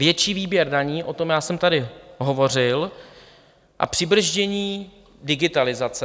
Větší výběr daní, o tom já jsem tady hovořil, a přibrzdění digitalizace.